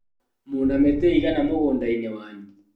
Mwĩna mĩtĩ ĩigana mũgũndainĩ wanyu?